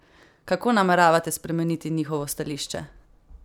Kako nameravate spremeniti njihovo stališče?